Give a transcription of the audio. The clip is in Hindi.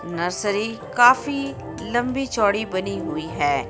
नर्सरी काफी लंबी चौड़ी बनी हुई है.